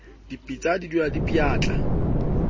dipitsa di dulang di pjatla